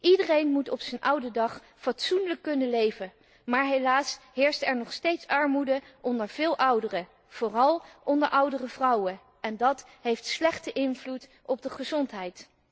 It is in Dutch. Iedereen moet op zijn oude dag fatsoenlijk kunnen leven, maar helaas heerst er nog steeds armoede onder veel ouderen, vooral onder oudere vrouwen, en dat heeft een slechte invloed op de gezondheid.